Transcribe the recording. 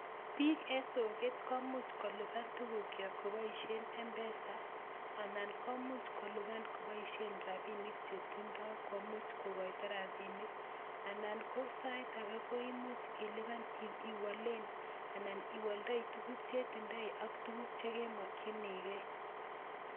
Piik en soket komuch kolipan tukwak koboisien Mpesa ana komuch kolipan koboisien rapinik chetindoo komuch kokoito rapinik, anan sait ake koimuch ilipan iwalen ana iwoldoi tuku cheketindoi ak tukuk chemokyinike.